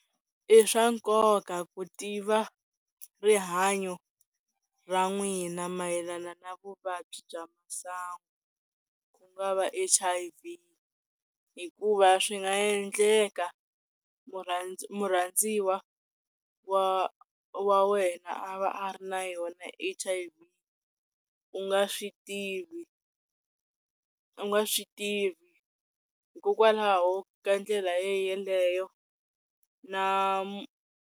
I swa nkoka ku tiva rihanyo ra n'wina mayelana na vuvabyi bya sangu ku nga va H_i_V hikuva swi nga yendleka murhandziwa murhandziwa wa wena a va a ri na yona H_i_V u nga swi tivi u nga swi tivi hikokwalaho ka ndlela ye yeleyo na .